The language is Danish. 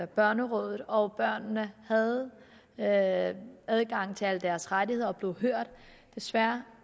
børnerådet og børnene havde havde adgang til alle deres rettigheder og blev hørt desværre